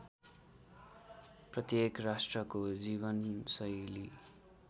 प्रत्येक राष्ट्रको जीवनशैली